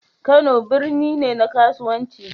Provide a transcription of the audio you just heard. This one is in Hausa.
Kano birni ne na kasuwanci.